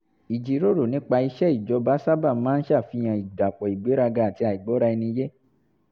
ìjíròrò nípa iṣẹ́ ìjọba sábà máa ń ṣàfihàn ìdàpọ̀ ìgbéraga àti àìgbọ́ra-ẹni-yé